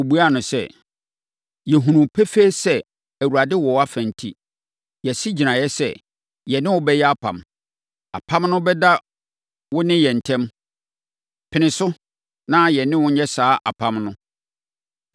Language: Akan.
Wɔbuaa no sɛ, “Yɛhunu pefee sɛ Awurade wɔ wʼafa enti, yɛasi gyinaeɛ sɛ, yɛne wo bɛyɛ apam. Apam no bɛda wo ne yɛn ntam. Pene so, na yɛne wo nyɛ saa apam no,